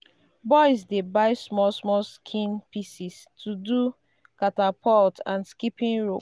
boys dey buy small small skin pieces to do catapult and skipping rope.